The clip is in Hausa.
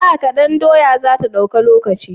Dakan doya zata dauki lokaci?